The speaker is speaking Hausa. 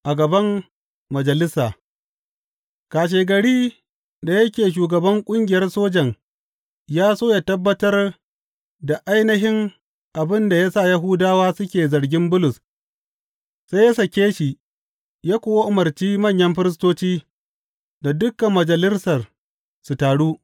A gaban majalisa Kashegari da yake shugaban ƙungiyar sojan ya so yă tabbatar da ainihin abin da ya sa Yahudawa suke zargin Bulus, sai ya sake shi ya kuwa umarci manyan firistoci da dukan Majalisar su taru.